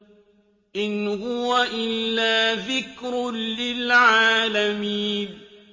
إِنْ هُوَ إِلَّا ذِكْرٌ لِّلْعَالَمِينَ